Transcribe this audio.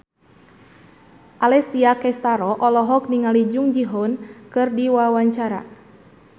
Alessia Cestaro olohok ningali Jung Ji Hoon keur diwawancara